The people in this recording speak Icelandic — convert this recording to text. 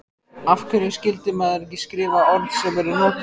Af hverju skyldi maður ekki skrifa orð sem eru notuð?